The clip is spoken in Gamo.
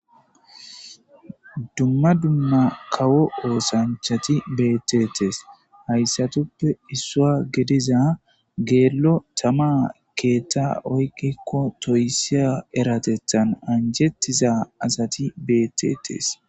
Dumma dumma kawo oosanchati beetetees hayssatuppe issua gediza geello tama keetta oykkikko toyssi eratettan anjettiza asati betetees.